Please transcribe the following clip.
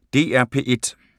DR P1